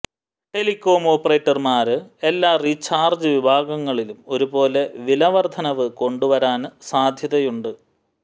telecom ഓപ്പറേറ്റര്മാര് എല്ലാ recharge വിഭാഗങ്ങളിലും ഒരുപോലെ വിലവര്ധനവ് കൊണ്ടുവരാന് സാധ്യതയുണ്ട്